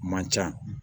Man ca